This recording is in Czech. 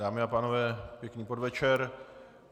Dámy a pánové pěkný podvečer.